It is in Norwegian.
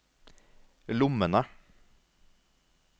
lommene